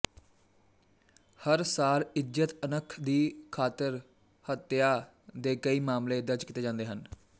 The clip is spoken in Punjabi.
ਹਰ ਸਾਲ ਇੱਜ਼ਤ ਅਣਖ ਦੀ ਖਾਤਰ ਹੱਤਿਆ ਦੇ ਕਈ ਮਾਮਲੇ ਦਰਜ ਕੀਤੇ ਜਾਂਦੇ ਹਨ